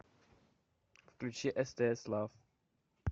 включи стс лав